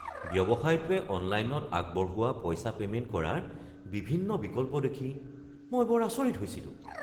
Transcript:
ব্যৱসায়টোৱে অনলাইনত আগবঢ়োৱা পইচা পেমেণ্ট কৰাৰ বিভিন্ন বিকল্প দেখি মই বৰ আচৰিত হৈছিলোঁ।